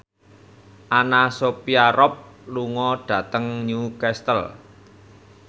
Anna Sophia Robb lunga dhateng Newcastle